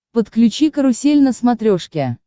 подключи карусель на смотрешке